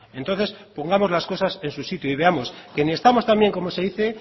entonces pongamos las cosas en su sitio y veamos que ni estamos tan bien como se dice